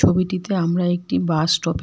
ছবিটিতে আমরা একটি বাস স্টপের--